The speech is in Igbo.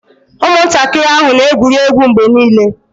Ụmụntakịrị ahụ na-egwuri egwu mgbe niile